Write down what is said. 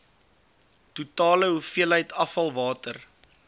totale hoeveelheid afvalwater